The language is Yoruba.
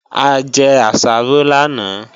A jẹ àsáró lánàá